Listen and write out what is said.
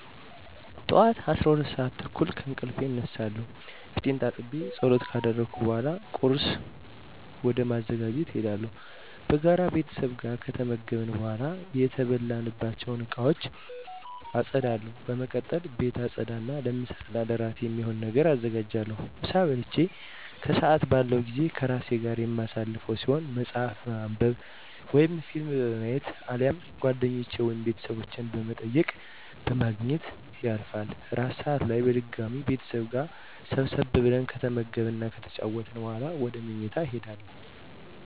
ጠዋት 12:30 ከእንቅልፌ እነሳለሁ። ፊቴን ታጥቤ ፀሎት ካደረስኩ በኃላ ቁርስ ወደ ማዘጋጀት እሄዳለሁ። በጋራ ቤተሰብ ጋር ከተመገብን በኃላ የተበላባቸውን እቃወች አፀዳለሁ። በመቀጠል ቤት አፀዳ እና ለምሳ እና እራት የሚሆን ነገር አዘጋጃለሁ። ምሳ በልቼ ከሰአት ያለው ጊዜ ከራሴ ጋር የማሳልፈው ሲሆን መፀሀፍ በማንብ ወይም ፊልም በማየት አሊያም ጓደኞቼን ወይም ቤተሰብ በመጠየቅ በማግኘት ያልፋል። እራት ሰአት ላይ በድጋሚ ቤተሰብ ጋር ሰብሰብ ብለን ከተመገብን እና ከተጨዋወትን በኃላ ወደ ምኝታ እሄዳለሁ።